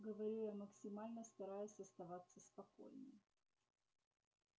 так говорю я максимально стараясь оставаться спокойной